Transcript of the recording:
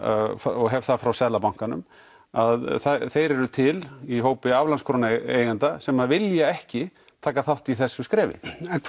og hef það frá Seðlabankanum að þeir eru til í hópi aflandskrónueigenda sem vilja ekki taka þátt í þessu skrefi